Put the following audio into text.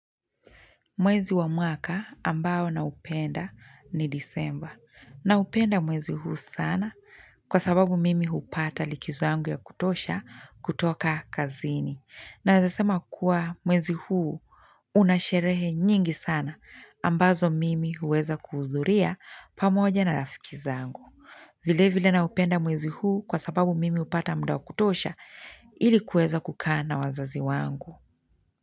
Mwezi wa mwaka ambao na upenda ni disemba naupenda mwezi huu sana kwa sababu mimi hupata likizo yangu ya kutosha kutoka kazini naweza sema kuwa mwezi huu unasherehe nyingi sana ambazo mimi huweza kuhudhuria pamoja na rafiki zangu. Vile vile na upenda mwezi huu kwa sababu mimi hupata muda wa kutosha ili kuweza kukaa na wazazi wangu.